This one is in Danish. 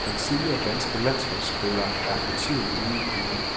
Den tidligere danske landsholdsspiller er for tiden ude i kulden.